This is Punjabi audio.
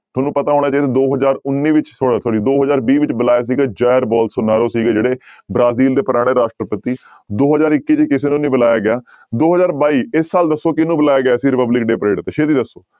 ਤੁਹਾਨੂੰ ਪਤਾ ਹੋਣਾ ਚਾਹੀਦਾ ਦੋ ਹਜ਼ਾਰ ਉੱਨੀ ਵਿੱਚ ਸੋ sorry ਦੋ ਹਜ਼ਾਰ ਵੀਹ ਵਿੱਚ ਬੁਲਾਇਆ ਸੀਗਾ ਜੈਰ ਬੋਲਸੋਨਾਰੋ ਸੀਗੇ ਜਿਹੜੇ ਬ੍ਰਾਜ਼ੀਲ ਦੇ ਪੁਰਾਣੇ ਰਾਸ਼ਟਰਪਤੀ ਦੋ ਹਜ਼ਾਰ ਇੱਕੀ ਚ ਕਿਸੇ ਨੂੰ ਨੀ ਬੁਲਾਇਆ ਗਿਆ, ਦੋ ਹਜ਼ਾਰ ਬਾਈ ਇਸ ਸਾਲ ਦੱਸੋ ਕਿਹਨੂੰ ਬੁਲਾਇਆ ਗਿਆ ਸੀ republic day parade ਤੇ ਛੇਤੀ ਦੱਸੋ।